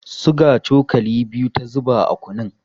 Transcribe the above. Suga cokali biyu ta zuba a kunun.